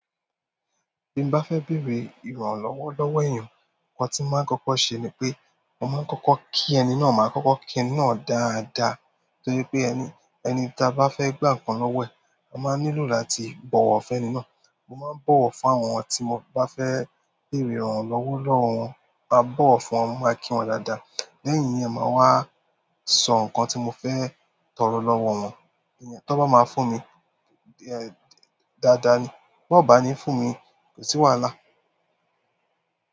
Bí n bá fẹ́ bèrè ìrànlọ́wọ́ lọ́wọ́ èèyàn, nǹkan tí mo máa ń kọ́kọ́ ṣe ni pé mo máa ń kọ́kọ́ kí ẹni náà, màá kọ́kọ́ kí ẹni náà dáadáa. Nítorí pé ẹni, ẹni tí a bá fẹ́ gbà ǹkan lọ́wọ́ ẹ̀, a máa nílò láti bọ̀wọ̀ fẹ́ ẹni náà. Mo máa ń bọ̀wọ̀ fún àwọn tí mo bá fẹ́ bèrè ìrànlọ́wọ́ lọ́wọ́ wọn. Mo máa bọ̀wọ̀ fún wọn, mo máa kí wọn dáadáa. Lẹ́yìn ìyẹn, máa wá sọ nǹkan tí mo fẹ́ tọrọ lọ́wọ́ wọn. Ẹniyàn tó bá máa fún mi, ẹ́, dáadáa ni. Tó bá ni fún mi, kò sí wàhálà.